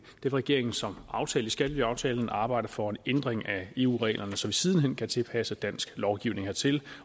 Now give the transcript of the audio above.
vil regeringen som aftalt i skattelyaftalen arbejde for at en ændring af eu reglerne så vi siden hen kan tilpasse dansk lovgivning hertil